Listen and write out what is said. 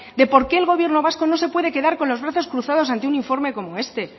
de por qué el gobierno vasco no se puede quedar con los brazos cruzados ante un informe como este